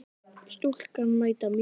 Stúlkan mæta mín.